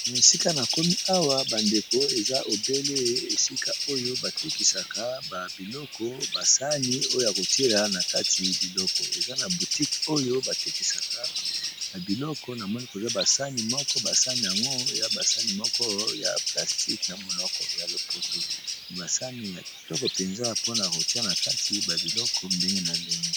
Na esika na komi awa bandeko eza ebele esika oyo batekisaka babiloko basani oyo ya kotiela na kati biloko eza na botique oyo batekisaka babiloko na moni koza basani moko basani yango ya basani moko ya plastique na monoko ya lopoto me basani ya kitoko mpenza mpona rotia na kati ba biloko ndenge na ndenge.